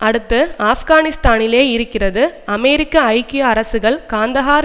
அடுத்து ஆப்கானிஸ்தானிலேயே இருக்கிறது அமெரிக்க ஐக்கிய அரசுகள் காந்தஹார்